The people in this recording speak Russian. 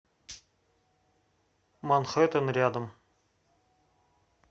манхэттен рядом